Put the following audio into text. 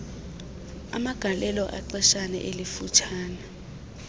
amagalelo exeshana elifutshane